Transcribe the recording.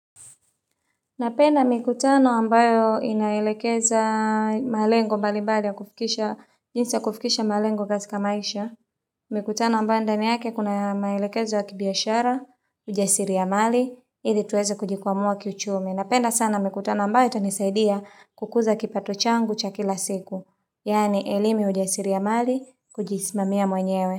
Napenda mikutano ambayo inaelekeza malengo mbali mbali ya kufikisha, jinsi kufikisha malengo katika maisha. Mikutano ambayo ndani yake kuna maelekezo wa kibiashara, ujasiri ya mali, ili tuweze kujikwamua kichumi. Napenda sana mikutano ambayo itanisaidia kukuza kipato changu cha kila siku. Yani elimu ya ujasiri ya mali, kujismamia mwenyewe.